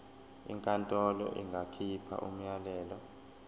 inkantolo ingakhipha umyalelo